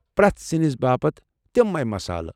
پرٮ۪تھ سِنِس باپت تمے مسالہٕ ۔